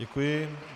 Děkuji.